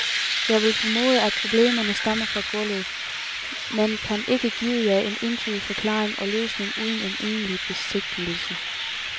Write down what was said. Jeg vil formode, at problemerne stammer fra gulvet, men kan ikke give jer en entydig forklaring og løsning uden en egentlig besigtigelse.